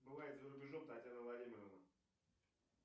бывает за рубежом татьяна владимировна